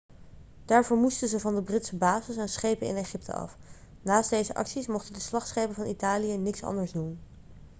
daarvoor moesten ze van de britse bases en schepen in egypte af naast deze acties mochten de slagschepen van italië niks anders doen